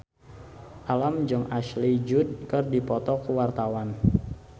Alam jeung Ashley Judd keur dipoto ku wartawan